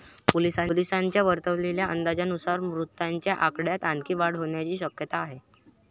पोलिसांनी वर्तवलेल्या अंदाजानुसार मृतांच्या आकड्यात आणखी वाढ होण्याची शक्यता आहे.